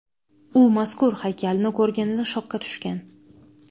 U mazkur haykalni ko‘rganida shokka tushgan.